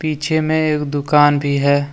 पीछे में एक दुकान भी है।